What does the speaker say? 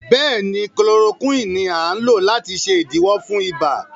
béèni Chloroquine ní a lò láti ṣe idiwọ fún ibà.